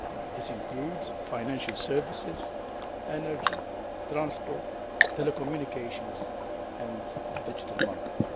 This includes financial services, energy, transport, telecommunications and the digital market.